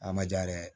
A ma ja yɛrɛ